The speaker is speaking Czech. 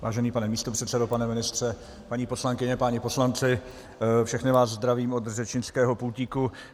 Vážený pane místopředsedo, pane ministře, paní poslankyně, páni poslanci, všechny vás zdravím od řečnického pultíku.